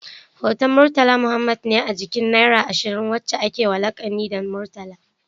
Hoton murtala Muhammad ne a jikin naira ashirin, wacca akewa lakani da murtala